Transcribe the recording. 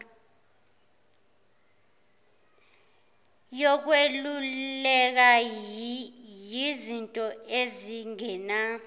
yokweluleka yizinto ezingena